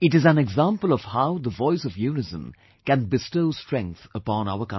It is an example of how the voice of unison can bestow strength upon our country